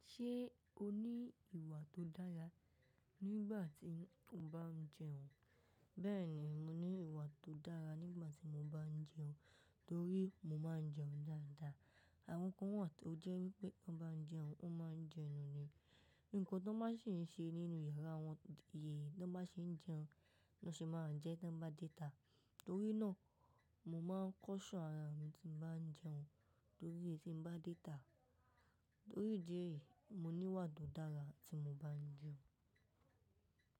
Ṣé o ní ìwà tó dára nígbà tí o bá ń jẹun? Bẹ́ẹ̀ni, mo ní ìwà tó dára nígbà tí mo bá ń jẹun, torí mo máa ń jẹun dáadáa. Àwọn kan wà tó jẹ́ wípé tó ń bá ń jẹun, wón máa ń jẹ enú ni. Nǹkan tó bá sì ń ṣe nínú yàrá wọn, tò bá ṣe ń jẹun, ló se máa jẹ tó bá dé ta. Torí náà, mo máa ń kọ́ṣọ̀n àrà mi tí mo bá ń jẹun, torí tí m bá dé ta. Torí ìdí èyí, mo ní ìwà tó dára tí mo bá ń jẹun.